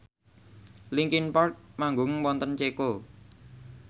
linkin park manggung wonten Ceko